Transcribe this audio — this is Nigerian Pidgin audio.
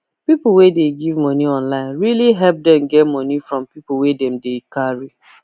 people wey dey give money online really help them get money from people wey dem dey carry